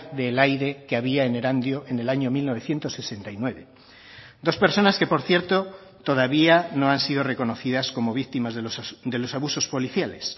del aire que había en erandio en el año mil novecientos sesenta y nueve dos personas que por cierto todavía no han sido reconocidas como víctimas de los abusos policiales